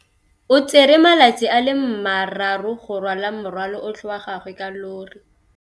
O tsere malatsi a le marraro go rwala morwalo otlhe wa gagwe ka llori.